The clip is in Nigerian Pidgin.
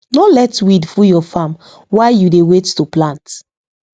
no let weed full your farm while you dey wait to plant